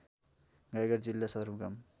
गाईघाट जिल्ला सदरमुकाम